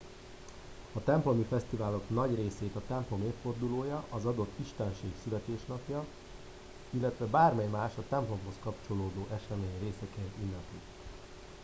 a templomi fesztiválok nagy részét a templom évfordulója az adott istenség születésnapja illetve bármely más a templomhoz kapcsolódó esemény részeként ünneplik